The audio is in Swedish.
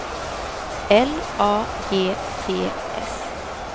L A G T S